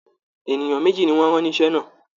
Ènìyàn méjì ni wọ́n rán níṣẹ́ náà